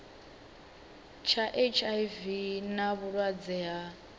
tsha hiv na vhulwadze ha